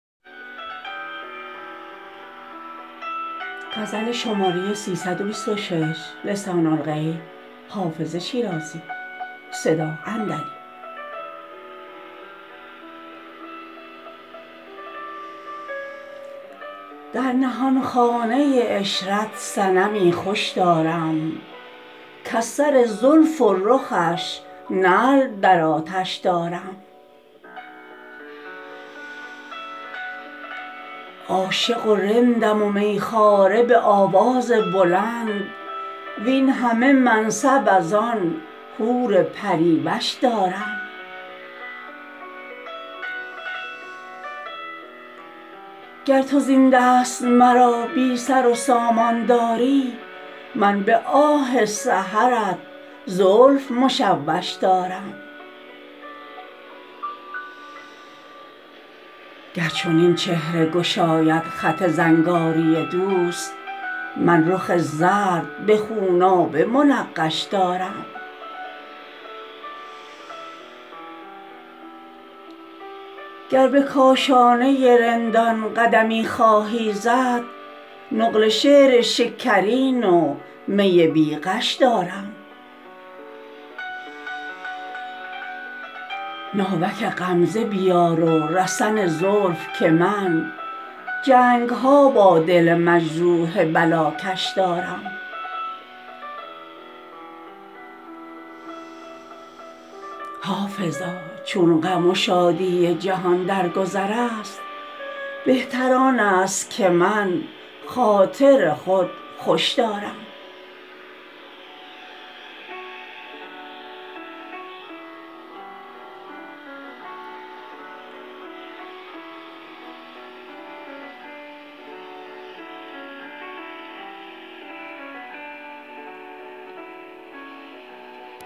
در نهانخانه عشرت صنمی خوش دارم کز سر زلف و رخش نعل در آتش دارم عاشق و رندم و می خواره به آواز بلند وین همه منصب از آن حور پری وش دارم گر تو زین دست مرا بی سر و سامان داری من به آه سحرت زلف مشوش دارم گر چنین چهره گشاید خط زنگاری دوست من رخ زرد به خونابه منقش دارم گر به کاشانه رندان قدمی خواهی زد نقل شعر شکرین و می بی غش دارم ناوک غمزه بیار و رسن زلف که من جنگ ها با دل مجروح بلاکش دارم حافظا چون غم و شادی جهان در گذر است بهتر آن است که من خاطر خود خوش دارم